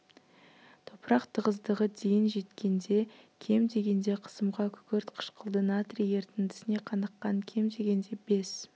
топырақ тығыздығы дейін жеткенде кем дегенде қысымға күкірт қышқылды натрий ерітіндісіне қаныққан кем дегенде бес